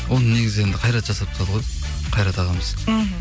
оны негізі енді қайрат жасап тастады ғой қайрат ағамыз мхм